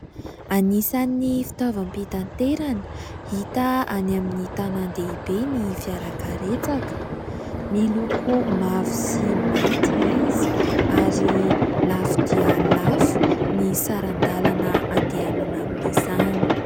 Anisan'ny fitaovam-pitaterana hita any amin'ny tanàn-dehibe ny fiarakaretsaka. Miloko mavo sy mainty izy ary lafo dia lafo ny saran-dalana andehanana amin'izany.